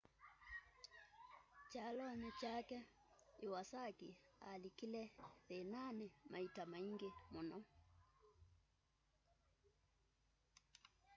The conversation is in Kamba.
kyalonĩ kyake iwasaki alikile thĩĩnaanĩ maita maingĩ mũno